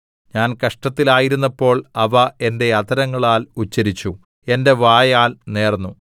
ഞാൻ കഷ്ടത്തിൽ ആയിരുന്നപ്പോൾ അവ എന്റെ അധരങ്ങളാൽ ഉച്ചരിച്ചു എന്റെ വായാൽ നേർന്നു